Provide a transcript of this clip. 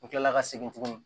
N kila la ka segin tuguni